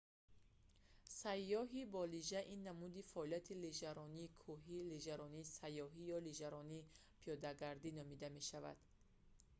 сайёҳӣ бо лижа ин намуди фаъолият лижаронии кӯҳи лижаронии сайёҳӣ ё лижаронии пиёдагардӣ номида мешавад